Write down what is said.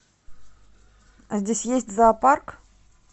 а здесь есть зоопарк